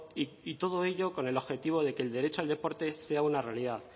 y todo ello con el objetivo de que el derecho al deporte sea una realidad